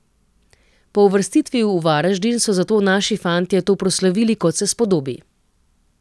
Po uvrstitvi v Varaždin so zato naši fantje to proslavili, kot se spodobi.